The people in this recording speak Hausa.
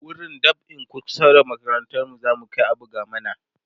wurin dab'in kusa da makarantar mu zamu Kai a buga mana